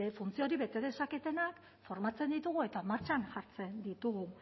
funtzio hori bete dezaketenak formatzen ditugu eta martxan jartzen ditugu